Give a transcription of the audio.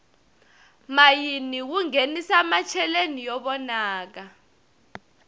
mayini wu nghenisa macheleni yo vonaka